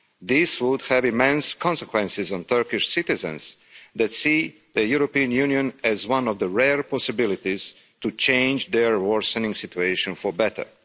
This would have immense consequences on Turkish citizens that see the European Union as one of the rare possibilities to change their worsening situation for the better.